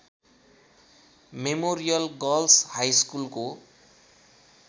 memorial girls हाइस्कुलको